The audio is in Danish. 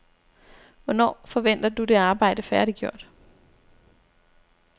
Hvornår forventer du det arbejde færdiggjort?